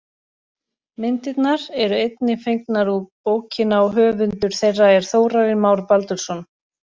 Myndirnar eru einnig fengnar úr bókina og höfundur þeirra er Þórarinn Már Baldursson.